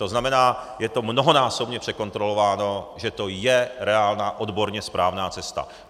To znamená, je to mnohonásobně překontrolováno, že to je reálná odborně správná cesta.